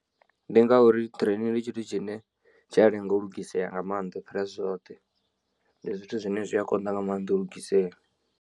Ndi ngauri train ndi tshithu tshine tshi a lenga u lugisela nga maanḓa ufhira zwithu zwoṱhe ndi zwithu zwine zwi a konḓa nga maanḓa u lugisea.